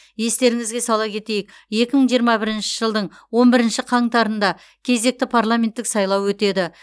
естеріңізге сала кетейік екі мың жиырма бірінші жылдың он бірінші қаңтарында кезекті парламенттік сайлау өтеді